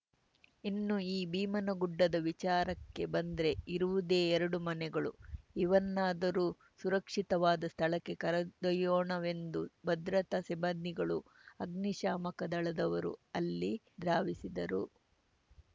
ಇನ್ನು ಈ ಭೀಮನಗುಡ್ಡದ ವಿಚಾರಕ್ಕೆ ಬಂದ್ರೆ ಇರುವುದೇ ಎರಡು ಮನೆಗಳು ಇವನ್ನಾದ್ರೂ ಸುರಕ್ಷಿತವಾದ ಸ್ಥಳಕ್ಕೆ ಕರೆದೊಯ್ಯೋಣವೆಂದು ಭದ್ರತಾ ಸಿಬ್ಬಂದಿಗಳು ಅಗ್ನಿಶಾಮಕ ದಳದವರು ಅಲ್ಲಿ ಧಾವಿಸಿದರು